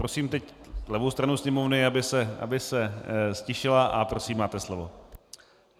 Prosím teď levou stranu sněmovny, aby se ztišila, a prosím, máte slovo.